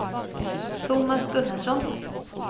Tomas Gunnarsson